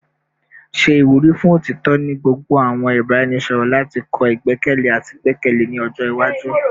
Ṣe iwuri fun otitọ ni gbogbo awọn ibaraẹnisọrọ lati kọ igbẹkẹle ati igbẹkẹle ni ọjọ iwaju